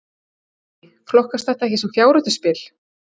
Guðný: Flokkast þetta ekki sem fjárhættuspil?